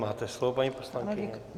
Máte slovo, paní poslankyně.